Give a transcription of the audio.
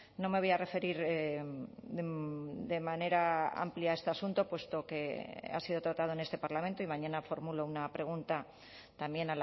no me voy a referir de manera amplia a este asunto puesto que ha sido tratado en este parlamento y mañana formulo una pregunta también